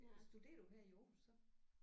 Studerer du her i Aarhus så?